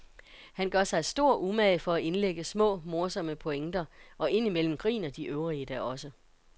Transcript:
Han gør sig stor umage for at indlægge små, morsomme pointer, og ind imellem griner de øvrige da også.